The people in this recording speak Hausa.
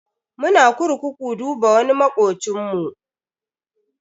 Muna kurkuku duba wani makocinmu.